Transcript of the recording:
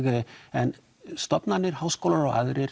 en stofnanir háskólar og aðrir